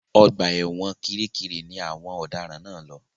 Ọgbà ẹ̀wọ̀n Kiríkirì ni wọ́n àwọn ọ̀daràn náà lọ.